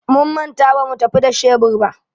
Mun manta bamu tafi da shebur ba.